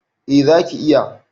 A zaki iya